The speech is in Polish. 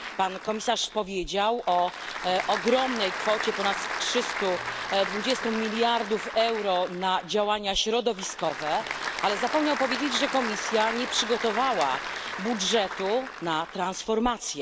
Pan komisarz powiedział o ogromnej kwocie ponad 320 mld euro na działania środowiskowe, ale zapomniał powiedzieć, że Komisja nie przygotowała budżetu na transformację.